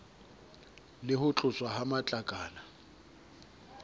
le ho tloswa ha matlakala